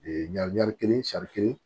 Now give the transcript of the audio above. ɲari kelen kelen